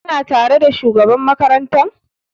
Ka na tare da shugaban makaranta?